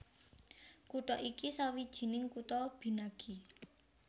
Kutha iki sawijining kutha binagi